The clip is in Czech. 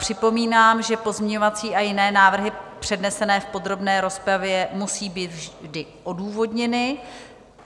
Připomínám, že pozměňovací a jiné návrhy přednesené v podrobné rozpravě musí být vždy odůvodněny.